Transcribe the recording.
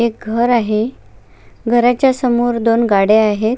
एक घर आहे घरचा समोर दोन गाड्या आहेत.